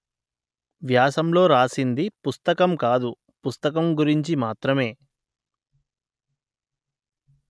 వ్యాసంలో రాసింది పుస్తకం కాదు పుస్తకం గురించి మాత్రమే